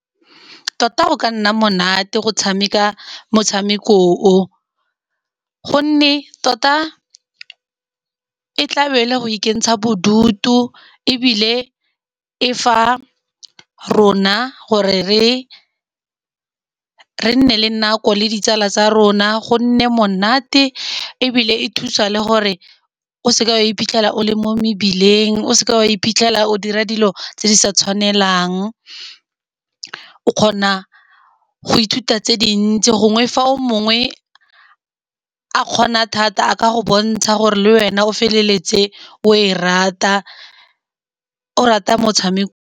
Tota go ka nna monate go tshameka motshameko o. Gonne tota e tla be e le go ikentsha bodutu, ebile e fa rona gore re nne le nako le ditsala tsa rona. Go nne monate ebile e thusa le gore o seke wa iphitlhela o le mo mebileng, o seke wa iphitlhela o dira dilo tse di sa tshwanelang. O kgona go ithuta tse dintsi, gongwe fa o mongwe, a kgona thata a ka go bontsha gore le wena o feleletse o e rata, o rata .